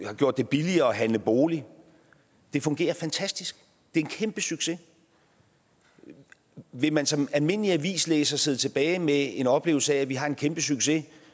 har gjort det billigere at handle bolig det fungerer fantastisk det er en kæmpe succes vil man som almindelig avislæser sidde tilbage med en oplevelse af at vi har en kæmpe succes